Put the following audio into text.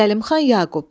Zəlimxan Yaqub.